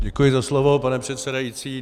Děkuji za slovo, pane předsedající.